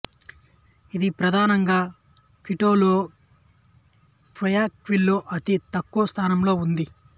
ఇది ప్రధానంగా క్విటోలో క్వాయాక్విల్లో అతి తక్కువ స్థాయిలో ఉంది